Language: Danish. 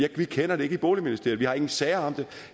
vi kender det ikke i boligministeriet vi har ingen sager om det